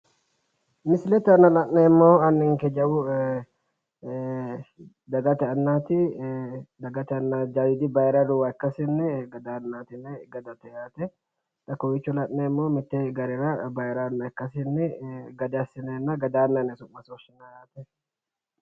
Misilete aana la'neemmohu anninke jawu dagate annaati dagate anna jawiidi bayiriidi luwa ikkasinni gadaannaati yinanni gadate yaate xa kawiicho la'neemmohu mitte garera bayira anna ikkasinni gada assineenna gadaannaati yine su 'masi woshinanni